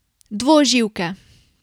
Dvoživke.